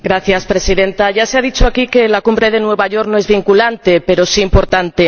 Señora Presidenta, ya se ha dicho aquí que la Cumbre de Nueva York no es vinculante, pero sí importante.